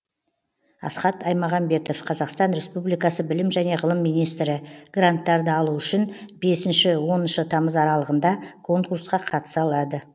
асхат аймағамбетов қазақстан республикасы білім және ғылым министрі гранттарды алу үшін бесінші оныншы тамыз аралығында конкурсқа қатыса алады